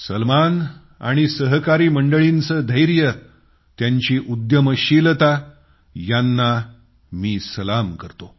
सलमान आणि सहकारी मंडळींचे धैर्य त्यांची उद्यमशीलता यांना मी सलाम करतो